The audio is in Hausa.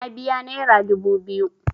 Na biya naira dubu biyu.